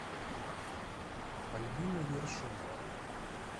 альбина ершова